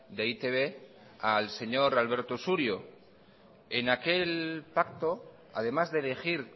de e i te be al señor alberto surio en aquel pacto además de elegir